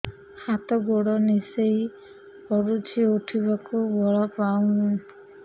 ହାତ ଗୋଡ ନିସେଇ ପଡୁଛି ଉଠିବାକୁ ବଳ ପାଉନି